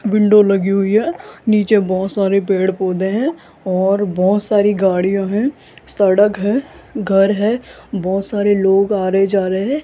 window लगी हुई है नीचे बहोत सारे पेड़ पौधे हैं और बहोत सारी गाड़ियां हैं सड़क है घर है बहोत सारे लोग आ रहे जा रहे --